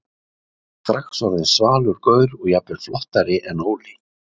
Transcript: Ég var strax orðinn svalur gaur og jafnvel flottari en Óli.